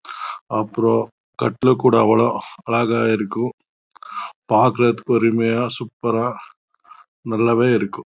அப்பறம் காட்டில் கூட அழகா இருக்கும் பாக்கறதுக்கு அருமையா சூப்பர் ஆஹ் இருக்கும் நல்லாவே இருக்கு